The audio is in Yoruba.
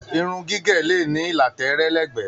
Irun gígé le ní ìlà tẹẹrẹ lẹgbẹ.